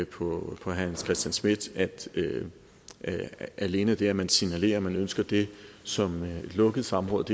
på herre hans christian schmidt at alene det at man signalerer at man ønsker det som et lukket samråd